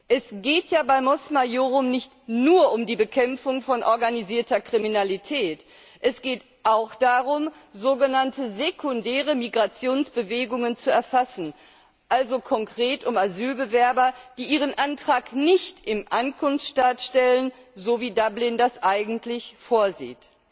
Es geht ja bei Mos Maiorum nicht nur um die Bekämpfung von organisierter Kriminalität, es geht auch darum, sogenannte sekundäre Migrationsbewegungen zu erfassen also konkret um Asylbewerber, die ihren Antrag nicht im Ankunftsstaat stellen, so wie Dublin das eigentlich vorsieht.